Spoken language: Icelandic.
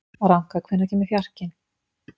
Ranka, hvenær kemur fjarkinn?